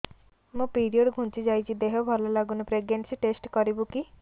ମୋ ପିରିଅଡ଼ ଘୁଞ୍ଚି ଯାଇଛି ଦେହ ଭଲ ଲାଗୁନି ପ୍ରେଗ୍ନନ୍ସି ଟେଷ୍ଟ କରିବୁ କି